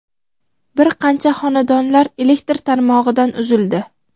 bir qancha xonadonlar elektr tarmog‘idan uzildi.